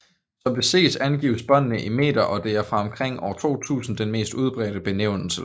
Som det ses angives båndene i meter og det er fra omkring år 2000 den mest udbredte benævnelse